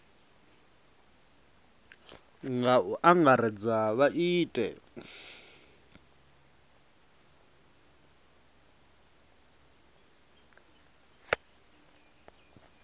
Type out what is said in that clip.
nga u angaredza vha ite